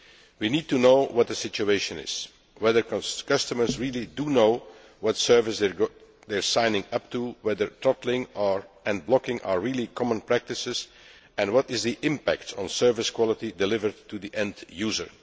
We need to know what the situation is whether customers really do know what service they are signing up to, whether throttling and blocking are really common practices and what the impact is on the service quality delivered to the end user.